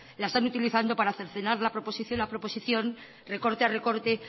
la están utilizando para cercenar la proposición a proposición recorte a recorte